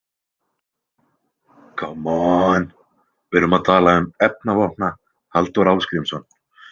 Kommon, við erum að tala um Efnavopna- Halldór Ásgrímsson .